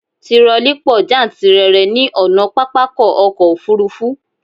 Tirọlí pọ jántìrere ní ọ̀nà pápákọ̀ ọ̀kọ òfurufú